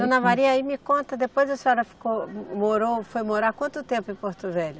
Dona Maria, aí me conta, depois a senhora ficou, morou, foi morar quanto tempo em Porto Velho?